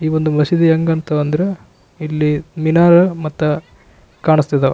ಈ ಒಂದು ಮಸೀದಿ ಹೆಂಗಂತ ಅಂದ್ರೆ ಇಲ್ಲಿ ಮಿನಾರ್ ಮತ್ತ ಕಾಣಿಸ್ತಾ ಇದ್ದವ.